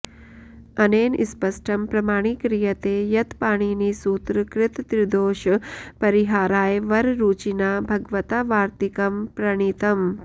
अनेन स्पष्टं प्रमाणीक्रियते यत् पाणिनिसूत्रकृतत्रिदोषपरिहाराय वररुचिना भगवता वार्त्तिकं प्रणीतम्